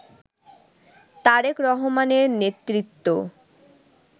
তারেক রহমানের নেতৃত্ব